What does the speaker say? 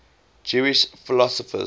jewish philosophers